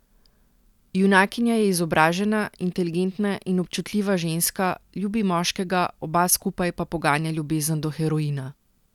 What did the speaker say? Junakinja je izobražena, inteligentna in občutljiva ženska, ljubi moškega, oba skupaj pa poganja ljubezen do heroina.